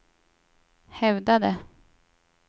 hävdade